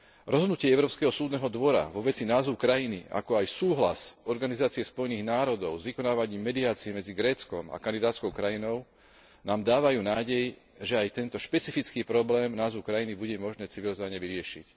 Rozhodnutie Európskeho súdneho dvora vo veci názvu krajiny, ako aj súhlas Organizácie Spojených národov s vykonávaním mediácie medzi Gréckom a kandidátskou krajinou nám dávajú nádej, že aj tento špecifický problém názvu krajiny bude možné civilizovane vyriešiť.